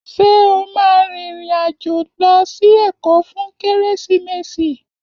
Ṣé o máa rìnrìn-àjò lọ sí Èkó fún Kérésìmesì?